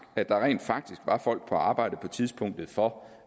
at der rent faktisk var folk på arbejde på tidspunktet for